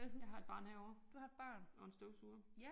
Jeg har et barn herovre og en støvsuger